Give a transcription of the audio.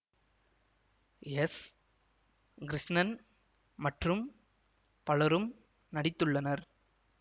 S Krishnan மற்றும் பலரும் நடித்துள்ளனர்